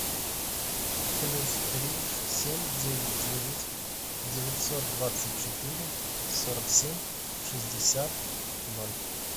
плюс три семь девять девять девятьсот двадцать четыре сорок семь шестьдесят ноль